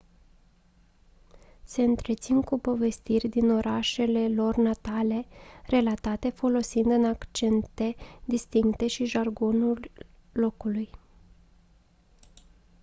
se întrețin cu povestiri din orașele lor natale relatate folosind în accente distincte și jargonul locului